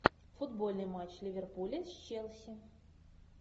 футбольный матч ливерпуля с челси